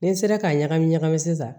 Ni n sera ka ɲagami ɲagami sisan